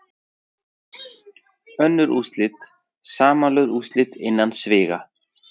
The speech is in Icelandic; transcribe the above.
Önnur úrslit, Samanlögð úrslit innan sviga.